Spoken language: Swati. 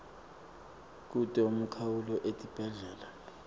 kute umkhawulo etibhedlela